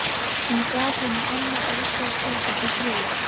Hún gaf honum annað olnbogaskot og það þriðja.